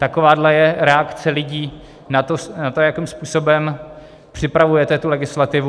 Takováhle je reakce lidí na to, jakým způsobem připravujete tu legislativu.